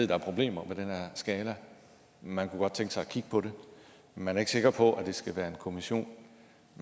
der er problemer med den her skala at man godt kunne tænke sig at kigge på det men man er ikke sikker på at det skal være en kommission